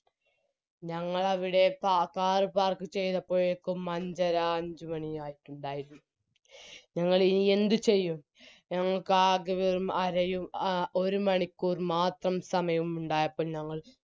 ഞങ്ങളവിടെ car park ചെയ്തപ്പഴേക്കും അഞ്ചര അഞ്ചുമണിയായിട്ടുണ്ടാരിരുന്നു ഞങ്ങളിനി എന്തുചെയ്യും ഞങ്ങൾക്കാകെ വെറും അരയും ആ ഒരുമണിക്കൂറും മാത്രം സമയവും ഉണ്ടായപ്പോൾ ഞങ്ങൾ